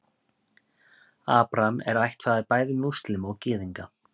Abraham er ættfaðir bæði múslíma og gyðinga.